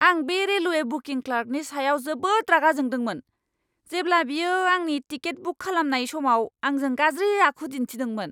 आं बे railway booking क्लार्कनि सायाव जोबोद रागा जोंदोंमोन, जेब्ला बियो आंनि टिकेट बुक खालामनाय समाव आंजों गाज्रि आखु दिन्थिदोंमोन!